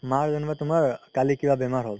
মা যেনিবা তুমাৰ কালি কিবা বেমাৰ হ'ল